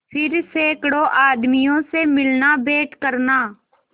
फिर सैकड़ों आदमियों से मिलनाभेंट करना